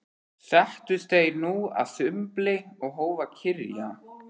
Settust þeir nú að sumbli og hófu að kyrja